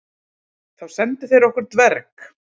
Þá sendu þeir okkur dverg.